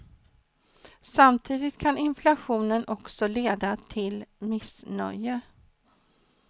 Samtidigt kan inflationen också leda till missnöje.